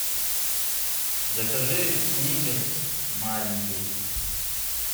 закажи сникерс маленький